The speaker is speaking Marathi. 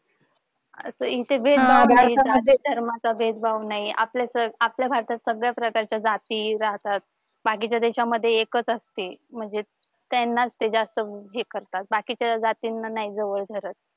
असं इथे भेदभाव नाही धर्माचा भेदभाव नाही आपल्या तर आपल्या भारतात सगळ्या प्रकारच्या जाती जातात बाकीच्या देशांमध्ये एकच असते म्हणजे त्यांना ते जास्त हे करतात. बाकीच्या जातींना नाही जवळ धरत